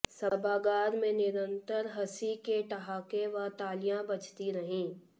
सभागार में निरंतर हंसी के ठहाके व तालियां बजती रहीं